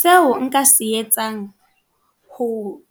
Seo nka se etsang, ho